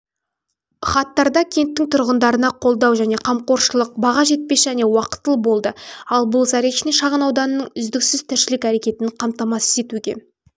хаттарда кенттің тұрғындарына қолдау және қамқоршылық баға жетпес және уақытылы болды ал бұл заречный шағын ауданның үздіксіз тіршілік әрекетін қамтамасыз етуге